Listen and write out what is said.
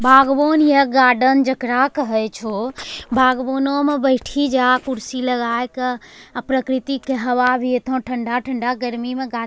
बागवान या गार्डन जेकरा कहइ छो बागवानो मे बैठी जा कुर्सी लगा के अ प्रकर्ति के हवा भी इतना ठंढा-ठंढा गर्मी में गा --